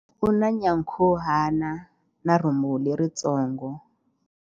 U na nyankhuhana na rhumbu leritsongo.